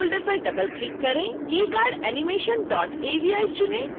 e cardanimationavi चुनें